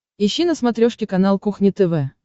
ищи на смотрешке канал кухня тв